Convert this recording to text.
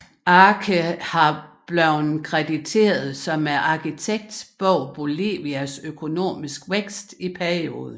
Arce har blevet krediteret som arkitekten bag Bolivias økonomiske vækst i perioden